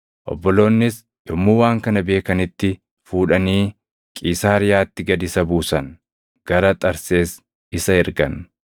Obboloonnis yommuu waan kana beekanitti fuudhanii Qiisaariyaatti gad isa buusan; gara Xarsees isa ergan.